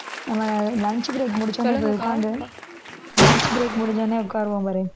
நம்ம lunch break முடிச்ச உடனே போய் உட்கார்ந்து lunch break முடிஞ்ச உடனே உட்காருவோம் பாரு